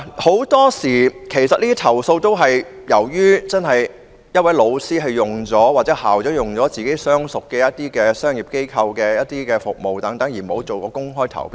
很多時候，投訴都是源於一位老師或校長用了自己相熟的商業機構提供服務，而沒有採取公開投標。